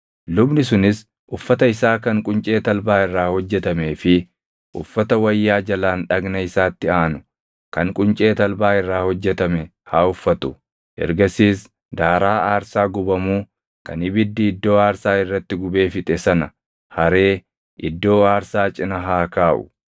Lubni sunis uffata isaa kan quncee talbaa irraa hojjetamee fi uffata wayyaa jalaan dhagna isaatti aanu kan quncee talbaa irraa hojjetame haa uffatu; ergasiis daaraa aarsaa gubamuu kan ibiddi iddoo aarsaa irratti gubee fixe sana haree iddoo aarsaa cina haa kaaʼu.